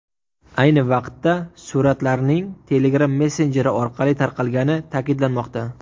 Ayni vaqtda suratlarning Telegram messenjeri orqali tarqalgani ta’kidlanmoqda.